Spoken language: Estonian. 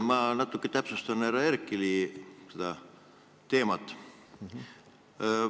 Ma natuke täpsustan härra Herkeli teemat.